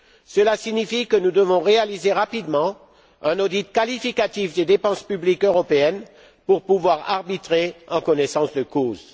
Cela signifie que nous devons réaliser rapidement un audit qualitatif des dépenses publiques européennes pour pouvoir arbitrer en connaissance de cause.